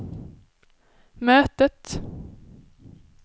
mötet